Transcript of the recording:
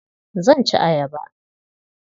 Zan ci ayaba.